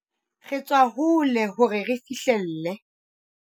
Re tswa hole hore re fihlelle